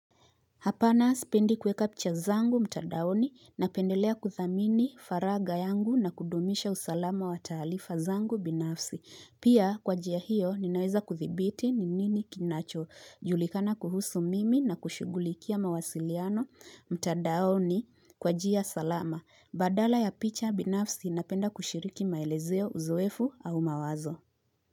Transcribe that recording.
Hapana sipendi kweka picha zangu mtandaoni na pendelea kuthamini faraga yangu na kudumisha usalama wa taalifa zangu binafsi. Pia kwa jia hiyo ninaweza kuthibiti ni nini kinacho. Julikana kuhusu mimi na kushugulikia mawasiliano mtandaoni kwa jia salama. Badala ya picha binafsi inapenda kushiriki maelezeo uzuefu au mawazo.